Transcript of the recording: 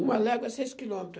Uma légua é seis quilômetro.